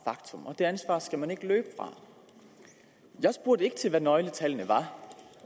faktum og det ansvar skal man ikke løbe fra jeg spurgte ikke til hvad nøgletallene var